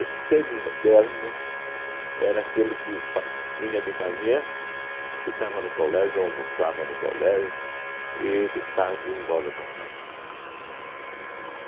O semi-interno era aquele que pa vinha de manhã, ficava no colégio, almoçava no colégio e de tarde ia embora para casa.